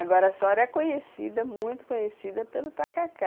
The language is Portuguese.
Agora a sua hora é conhecida, muito conhecida pelo tacacá.